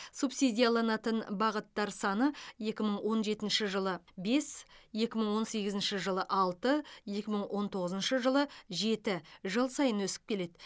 субсидияланатын бағыттар саны екі мың он жетінші жылы бес екі мың он сегізінші жылы алты екі мың он тоғызыншы жылы жеті жыл сайын өсіп келеді